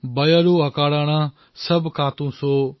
বয়ৰু অকাৰণ সব কাহু সো